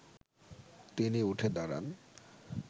তিনি উঠে দাঁড়ান